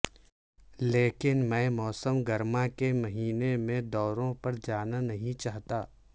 لیکن میں موسم گرما کے مہینے میں دوروں پر جانا نہیں چاہتا